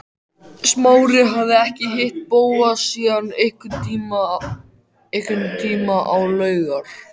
Smári hafði ekki hitt Bóas síðan einhvern tíma á laugar